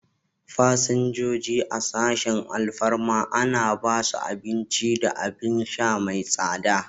Fasinjoji a sashin alfarma ana ba su abin ci da abin sha mai tsada.